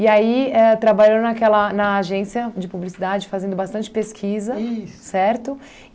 aí, éh trabalhou naquela na agência de publicidade, fazendo bastante pesquisa, isso, certo?